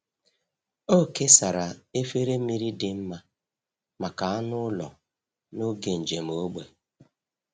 Ọ kesara efere mmiri dị mma maka anụ ụlọ n’oge njem ógbè.